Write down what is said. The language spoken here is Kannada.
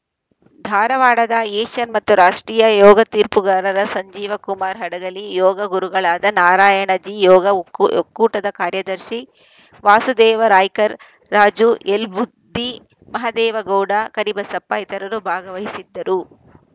ಧಾರವಾಡದ ಏಷ್ಯನ್‌ ಹಾಗೂ ರಾಷ್ಟ್ರೀಯ ಯೋಗ ತೀರ್ಪುಗಾರರ ಸಂಜೀವ ಕುಮಾರ ಹಡಗಲಿ ಯೋಗ ಗುರುಗಳಾದ ನಾರಾಯಣ ಜೀ ಯೋಗ ಒಕ್ ಒಕ್ಕೂಟದ ಕಾರ್ಯದರ್ಶಿ ವಾಸುದೇವ ರಾಯ್ಕರ್‌ ರಾಜು ಎಲ್‌ ಬದ್ದಿ ಮಹದೇವ ಗೌಡ ಕರಿಬಸಪ್ಪ ಇತರರು ಭಾಗವಹಿಸಿದ್ದರು